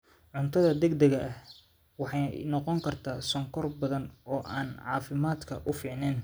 Cuntada degdega ahi waxa ay noqon kartaa sonkor badan oo aan caafimaadka u fiicnayn.